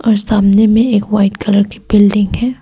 और सामने में एक व्हाइट कलर की बिल्डिंग है।